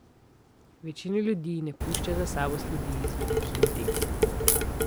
Večina ljudi ne pušča za sabo sledi z velikimi deli.